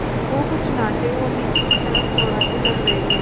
वो कुछ नाटे और नीचे की तरफ़ चौड़ाते लग रहे थे